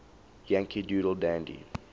yankee doodle dandy